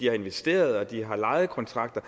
har investeret og de har lejekontrakter